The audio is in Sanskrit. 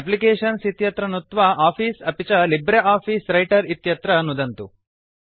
एप्लिकेशन्स् इत्यत्र नुत्वा आफिस अपि च लिब्रियोफिस व्रिटर इत्यत्र नुदन्तु